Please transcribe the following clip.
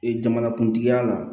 Ee jamanakuntigiya la